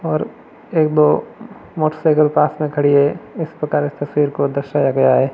और एक दो मोटरसाइकिल पास में खड़ी है इस प्रकार इस तस्वीर को दर्शाया गया है।